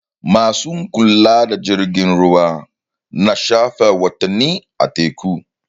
Ma su kula da jirgin ruwa na shafe watanni a teku.